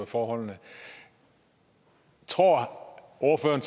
forholdene tror ordføreren